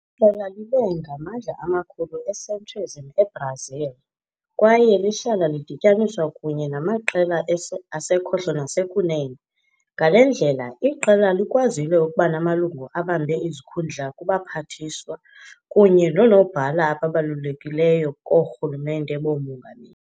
Iqela libe ngamandla amakhulu e-centrism eBrazil kwaye lihlala lidityaniswa kunye namaqela asekhohlo nasekunene. Ngale ndlela, iqela likwazile ukuba namalungu abambe izikhundla kubaphathiswa kunye noonobhala ababalulekileyo koorhulumente boomongameli.